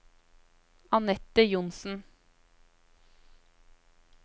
Anette Johnsen